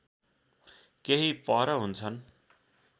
केही पर हुन्छन्